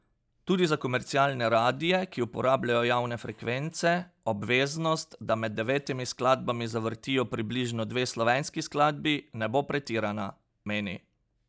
Tudi za komercialne radie, ki uporabljajo javne frekvence, obveznost, da med devetimi skladbami zavrtijo približno dve slovenski skladbi, ne bo pretirana, meni.